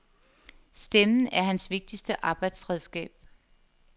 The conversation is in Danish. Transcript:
Stemmen er hans vigtigste arbejdsredskab.